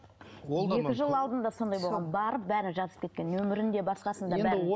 ол да екі жыл алдында сондай болған барып бәрін жазып кеткен нөмірін де басқасын да бәрін